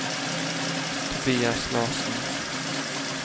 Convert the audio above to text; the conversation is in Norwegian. Tobias Larsen